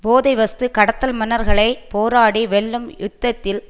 போதைவஸ்து கடத்தல் மன்னர்களை போராடி வெல்லும் யுத்தத்தில்